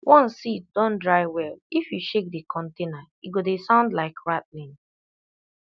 once seed don dry well if you shake the container e go dey sound like rattling